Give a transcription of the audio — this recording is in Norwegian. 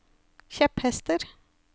kjepphester